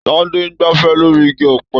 Tade n gbàfẹ̀ lóri igi ọ̀pẹ.